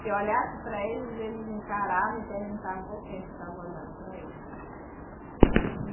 Se olhasse para eles, eles encaravam e perguntavam por que a gente estava olhando para eles, né? E